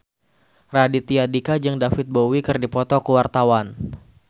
Raditya Dika jeung David Bowie keur dipoto ku wartawan